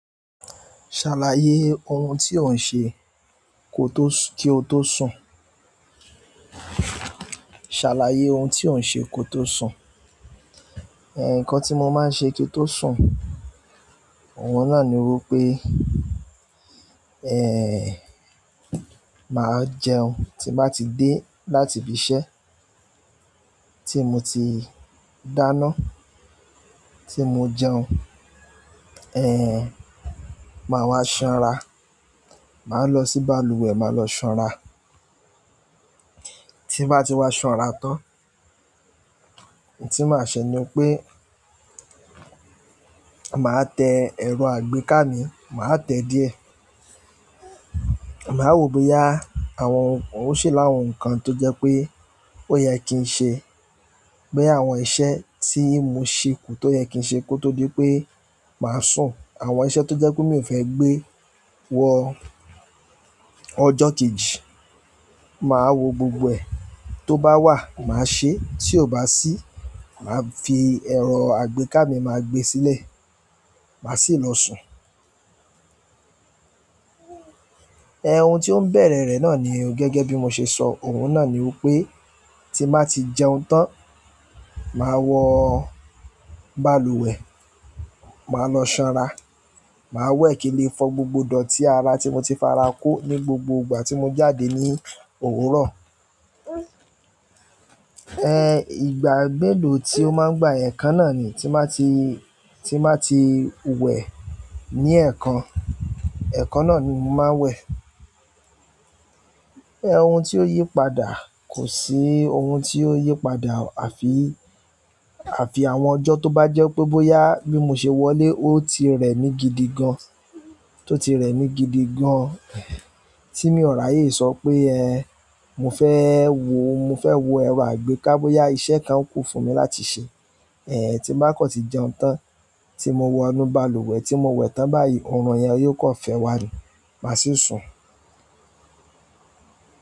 Ṣàlàyé ohun tí ò ń ṣe kí o tó sùn. Ṣàlàyé ohun tí ò ń ṣe kí o tó sùn. Nǹkan tí mo máa ń ṣe kí n tó sùn, òun náà ni wí pé, máa jẹun tí n bá ti dé láti ibi iṣẹ́ tí mo ti dáná, tí mo jẹun, máa wá sanra. Màá lọ sí balùwẹ̀, máa lọ sanra. Ti n ba ti waa sanra tan ohun tí màá ṣe ni pé, màá tẹ ẹ̀rọ àgbéká mi, màá tẹ díẹ̀. Màá wò ó bóyá àwọn ó ṣi làwọn nǹkan tó jẹ́ pé ó yẹ kí ń ṣe boya àwọn iṣẹ́ tí mo ṣeku tó yẹ kí n ṣe kó tó dí pé màá sùn. Àwọn iṣẹ́ tó jẹ́ pé mi ò fẹ́ gbé wọ ọjọ́ kejì, màá wo gbogbo ẹ̀ tó bá wà, màá ṣe. Tí ò bá sí, màá fi ẹ̀rọ àgbéká mi, màá gbé sílẹ̀, màá sì lọ sùn. Ohun tí ó ń bẹ̀rẹ̀ rẹ̀ náà ni, gẹ́gẹ́ bí mo ṣe sọ òun náà ni wí pé, tí n bá ti jẹun tán, màá wọ balùwẹ̀, màá lọ sanra. Màá wẹ́ kì n le fọ gbogbo idọ̀tí ara tí mo ti fara kó ní gbogbo ìgbà tí mo jáde ní òwúrọ̀. Ìgbà melo tí ó máa ń gbà ẹ̀kan náà ni tí n bàá ti wẹ ní ẹ̀ẹ̀kan. Ẹ̀ẹ̀kan náà ni mo máa ń wẹ̀. Ohun tí ó yí padà, kò sí ohun tí ó yí padà. Àfi àwọn ọjọ́ tó bá jẹ́ pé bóyá bí mo ṣe wọlé ó ti rẹ̀ mí gidi gan, tó ti rẹ̀ mí gidi gan tí mi ò rààyè sọ pé mo fẹ́ wo, mo fẹ́ wo ẹ̀rọ àgbéká bóyá iṣẹ́ kan kù fún mi láti ṣe. Tí bá kàn tí jẹun tán, tí mo wọnú balùwẹ̀ tí mo wẹ̀ tán báyìí, òòrùn yẹn yóò kàn fẹ́ wà ní, màá sì sùn.